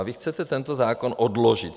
A vy chcete tento zákon odložit.